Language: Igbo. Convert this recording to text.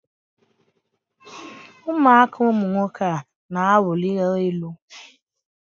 ụmụaka ụmụ nwoke a na-awụlika elu.